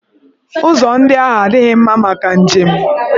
Ụzọ ndị ahụ adịghị mma maka njem.